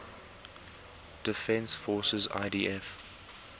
defense forces idf